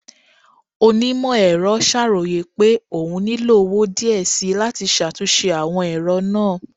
Onimọ-ẹrọ ṣaroye pe oún nilo owo diẹ síí lati ṣatunṣe awọn ẹrọ naa